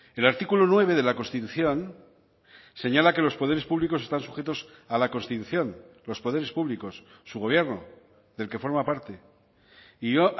el artículo nueve de la constitución señala que los poderes públicos están sujetos a la constitución los poderes públicos su gobierno del que forma parte y yo